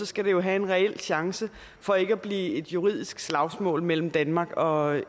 skal have en reel chance for ikke at blive et juridisk slagsmål mellem danmark og